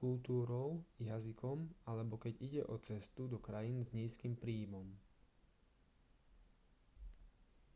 kultúrou jazykom alebo keď ide o cestu do krajín s nízkym príjmom